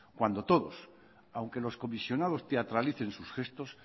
cuando todos aunque los comisionados teatralicen sus gestos